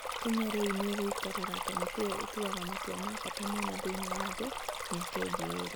Kenya rĩu nĩ ĩgũikarĩra kamĩtĩ ĩyo ĩtuaga matua ma bata mũno thĩinĩ wa thĩ, mĩaka ĩngĩ ĩĩrĩ.